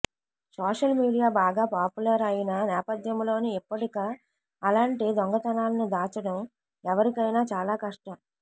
social media బాగా popular అయిన నేపథ్యంలో ఇప్పుడిక అలాంటి దొంగతనాలను దాచడం ఎవ్వరికైనా చాలా కష్టం